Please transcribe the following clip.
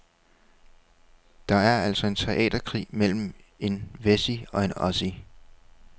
Det er altså en teaterkrig mellem en wessie og en ossie.